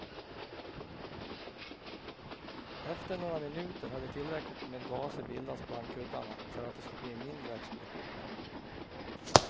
Efter några minuter hade tillräckligt med gaser bildats bland kuddarna för att det skulle bli en mindre explosion.